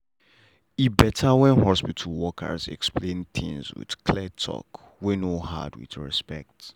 e better when hospital workers explain things with clear talk wey no hard with respect.